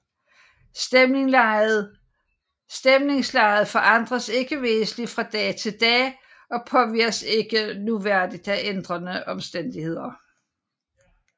Stemningslejet forandres ikke væsentligt fra dag til dag og påvirkes ikke nævneværdigt af ændrede omstændigheder